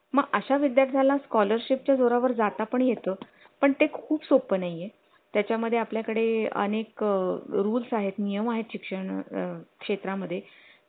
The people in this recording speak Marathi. मग अशा विद्यार्थ्या ला scholarship च्या जोरावर जाता पण येतो पण ते खूप सोपं नाही ये त्याच्या मध्ये आपल्याकडे आणि एक rules आहेत नियम आहेत शिक्षण क्षेत्रामध्ये